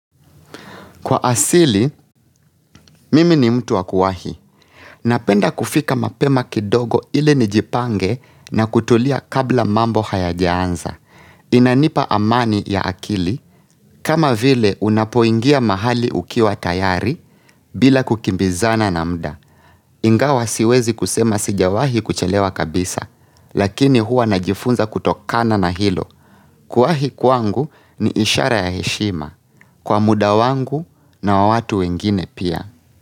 Kwa asili, mimi ni mtu wa kuwahi. Napenda kufika mapema kidogo ili nijipange na kutulia kabla mambo hayajaanza. Inanipa amani ya akili, kama vile unapoingia mahali ukiwa tayari bila kukimbizana na muda. Ingawa siwezi kusema sijawahi kuchelewa kabisa, lakini huwa najifunza kutokana na hilo. Kuwahi kwangu ni ishara ya heshima. Kwa muda wangu na wa watu wengine pia.